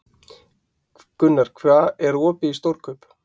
Gunnar, er opið í Stórkaup?